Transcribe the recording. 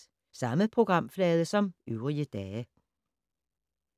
Samme programflade som øvrige dage